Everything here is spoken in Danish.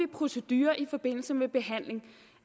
procedurer i forbindelse med behandling